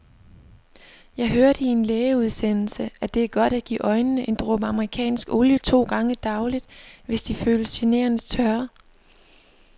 Jeg hørte i en lægeudsendelse, at det er godt at give øjnene en dråbe amerikansk olie to gange daglig, hvis de føles generende tørre.